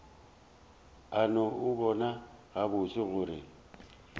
a no bona gabotse gore